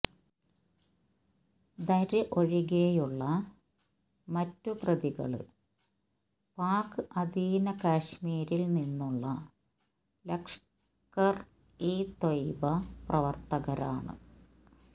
ധര് ഒഴികെയുള്ള മറ്റു പ്രതികള് പാക് അധീന കശ്മീരില് നിന്നുള്ള ലഷ്കര് ഇ ത്വയ്ബ പ്രവര്ത്തകരാണ്